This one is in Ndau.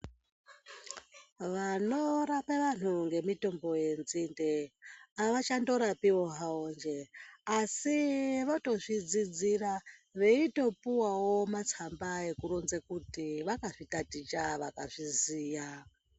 Vanorapa vanhu ngemitombo yenzinde ava chandorapiwo hawo njee asi votozvidzidzira, veitopuwawo matsamba ekuronze kuti vakazvitaticha vakazviziya.